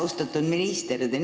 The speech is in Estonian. Austatud minister!